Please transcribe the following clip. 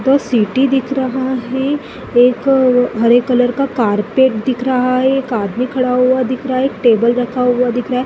दो सीटी दिख रहा है एक हरे कलर का कार्पेट दिख रहा है कार्पेट खड़ा हुआ दिख रहा है एक टेबल रखा हुआ दिख रहा हैं ।